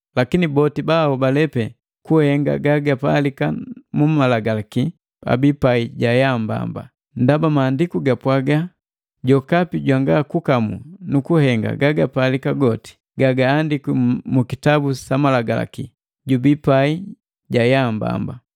Lakini boti bahobale pee kuhenga gagapalika na Malagalaki, abii pai ja yaa mbamba. Ndaba Maandiku ga Sapi gapwaaga: “Jokapi jwanga kukamu nu kuhenga gagapalika goti gagaandikwi mu kitabu sa malagalaki, jubii pai ja ya mbamba.”